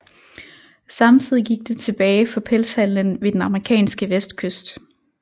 Samtidig gik det tilbage for pelshandelen ved den amerikanske vestkyst